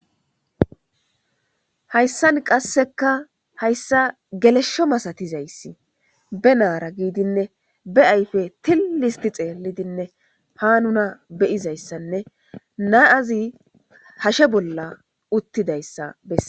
Hayssan qasseka hayssa geleshsho masatizayssi be naara giidinne be ayfe tilli histi xeellidinne pa nuna beyizayssanne naazi hashe bolla uttidayssa besses.